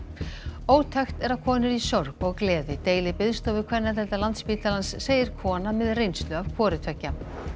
ótækt er að konur í sorg og gleði deili biðstofu kvennadeildar Landspítalans segir kona með reynslu af hvoru tveggja